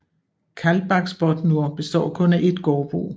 Kaldbaksbotnur består kun af et gårdbrug